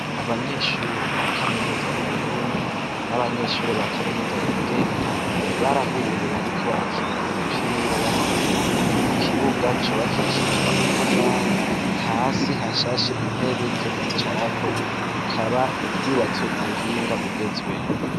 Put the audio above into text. Abanyeshure ba kaminuza y'uburundi n'abanyeshure ba kaminuza yigenga barahuye bariko barakina umupira w'amaguru ku kibuga cubakishijwe amatafari, hasi hashashe intebe zo kwicarako, rikaba ryubatswe ku buhinga bugezweho